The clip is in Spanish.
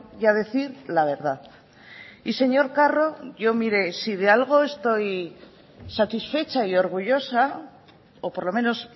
y a decir la verdad y señor carro yo mire si de algo estoy satisfecha y orgullosa o por lo menos